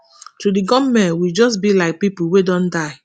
to di goment we just be like pipo wey don die